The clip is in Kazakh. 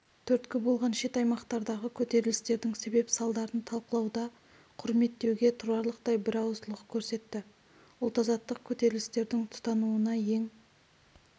түрткі болған шет аймақтардағы көтерілістердің себеп-салдарларын талқылауда құрметтеуге тұрарлықтай бірауыздылық көрсетті ұлт-азаттық көтерілістердің тұтануына ең